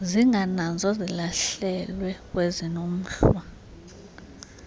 zingananzwa zilahlelwe kwesinomhlwa